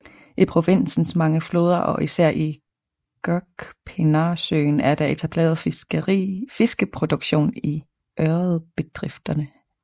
I provinsens mange floder og især i Gökpinarsøen er der etableret fiskeproduktion i ørredbedrifterne